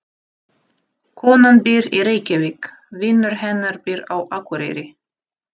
Konan býr í Reykjavík. Vinur hennar býr á Akureyri.